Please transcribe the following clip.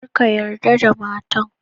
Kar ka yarda da matar